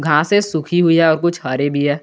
घासे है सूखी हुई है और कुछ हरी भी है।